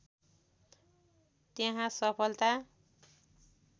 त्यहाँ सफलता